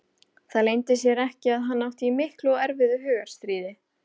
Það leyndi sér ekki að hann átti í miklu og erfiðu hugarstríði.